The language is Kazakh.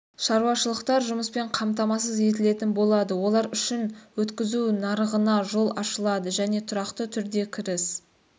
шаруашылықтар жұмыспен қамтамасыз етілетін болады олар үшін өткізу нарығына жол ашылады және тұрақты түрде кіріс